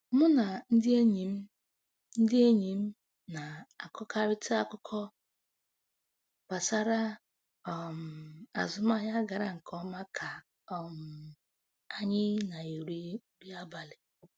Mụ na ndị enyi ndị enyi m na-akọkarịta akụkọ gbasara um azụmahịa gara nke ọma ka um anyị na-eri nri abalị